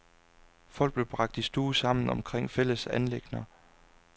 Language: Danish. Folk blev bragt i stue sammen omkring fælles anliggender.